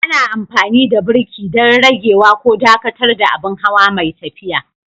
Ana amfani da birki don ragewa ko dakatar da abin hawa mai tafiya.